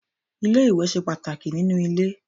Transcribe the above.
Ilé-iwẹ̀ ṣe pàtàkì nínú ilé.